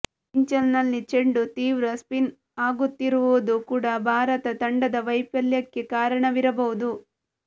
ಪಿಚ್ನಲ್ಲಿ ಚೆಂಡು ತೀವ್ರ ಸ್ಪಿನ್ ಆಗುತ್ತಿರುವುದು ಕೂಡ ಭಾರತ ತಂಡದ ವೈಫಲ್ಯಕ್ಕೆ ಕಾರಣವಿರಬಹುದು